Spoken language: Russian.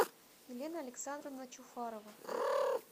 елена александровна чуфарова